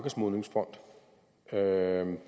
gøre